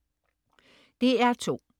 DR2: